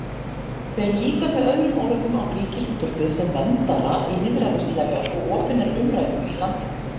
Þeir líta með öðrum orðum á Ríkisútvarpið sem verndara lýðræðislegrar og opinnar umræðu í landinu.